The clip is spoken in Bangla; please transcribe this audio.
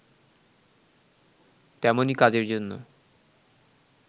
তেমনি কাজের জন্য